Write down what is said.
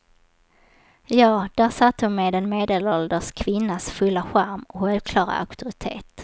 Ja, där satt hon med en medelålders kvinnas fulla charm och självklara auktoritet.